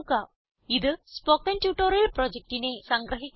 ഇത് spoken tutorial പ്രൊജക്റ്റിനെ സംഗ്രഹിക്കുന്നു